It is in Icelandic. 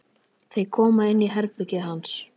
Þau koma inn í herbergið hans.